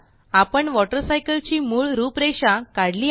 आपणWater cycle ची मूळ रूपरेषा काढली आहे